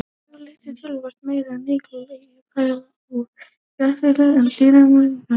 Yfirleitt er töluvert meira nikkel í fæðutegundum úr jurtaríkinu en dýraríkinu.